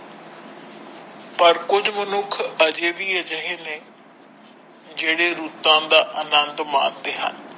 ਪਰ ਕੁਝ ਮਨੁੱਖ ਅਜੇ ਵੀ ਅਜਿਹੇ ਨੇ ਜਿਹੜੇ ਰੁੱਤਾਂ ਦਾ ਅਨੰਦ ਮਾਣਦੇ ਹਨ।